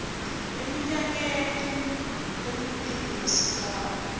eminyakeni lemibili nesigamu